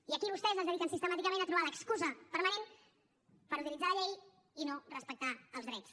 i aquí vostès es dediquen sistemàticament a trobar l’excusa permanent per utilitzar la llei i no respectar els drets